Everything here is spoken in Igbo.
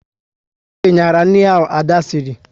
Osé nyara nri ahụ Ada sịrị